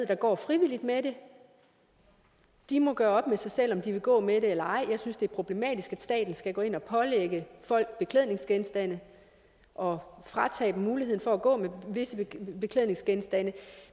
der går frivilligt med det de må gøre op med sig selv om de vil gå med det eller ej jeg synes at det er problematisk at staten skal gå ind at pålægge folk beklædningsgenstande og fratage dem muligheden for at gå med visse beklædningsgenstande